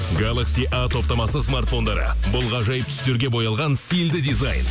галакси а топтамасы смарфондары бұл ғажайып түстерге боялған стильді дизайн